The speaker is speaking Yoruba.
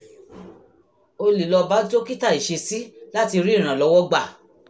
o lè lọ bá dókítà ìṣesí láti rí ìrànlọ́wọ́ gbà